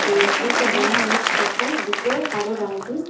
लकड़ी से बनी एक छत है हरे रंग की--